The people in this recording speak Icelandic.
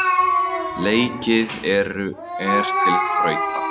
Leikið er til þrautar.